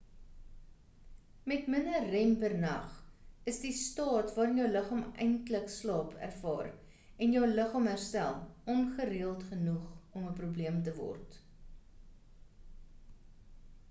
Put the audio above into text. met minder rem per nag is die staat waarin jou liggaam eintlik slaap ervaar en jou liggaam herstel ongereeld genoeg om 'n probleem te word